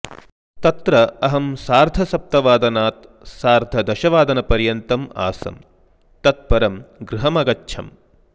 तत्र अहं सार्धसप्तवादनात् सार्धदशवादनपर्यन्तं आसम् तत् परं गृहं अगच्छम्